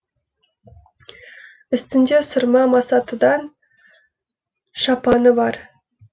үстінде сырма масатыдан шапаны бар